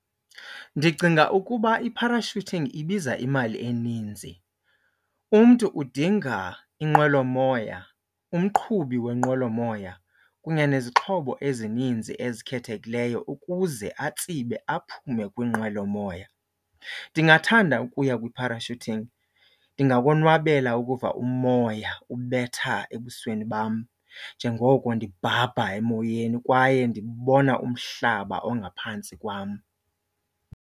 Ndicinga ukuba i-parachuting ibiza imali eninzi. Umntu udinga inqwelomoya, umqhubi wenqwelomoya kunye nezixhobo ezininzi ezikhethekileyo ukuze atsibe aphume kwinqwelomoya. Ndingathanda ukuya kwi-parachuting, ndingakonwabela ukuva umoya ubetha ebusweni bam njengoko ndibhabha emoyeni kwaye ndibona umhlaba ongaphantsi kwam.